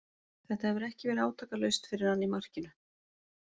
Þetta hefur ekki verið átakalaust fyrir hann í markinu.